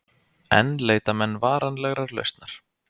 Enn leita menn varanlegrar lausnar